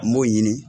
N b'o ɲini